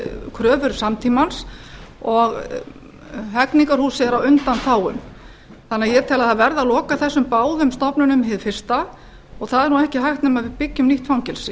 kröfur samtímans og hegningarhúsið er á undanþágum ég tel að það verði að loka þessum báðum stofnunum hið fyrsta og það er ekki hægt nema við byggjum nýtt fangelsi